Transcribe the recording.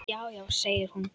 Já, já segir hún.